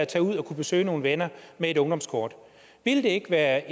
tage ud og besøge nogle venner med et ungdomskort ville det ikke være